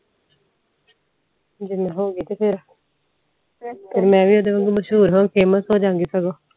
ਜੇ ਮੈਂ ਹੋਗੀ ਤੇ ਫੇਰ ਫੇਰ ਮੈਂ ਵੀ ਓਹਦੇ ਵਾਂਗੂ ਮਸ਼ਹੂਰ famous ਹੋਜਾ ਗੀ ਸਗੋਂ